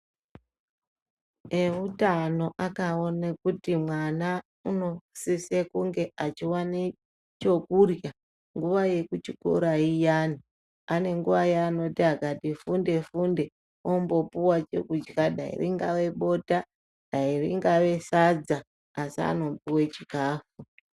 Eutano akaone kuti mwana unosise kunge achiwane chokurya nguwa yekuchikora iyani. Ane nguwa yeanoti akati funde-funde ombopuwa chokudya, dai ringave bota ,dai ringave sadza ,asi anopuwe chikafu.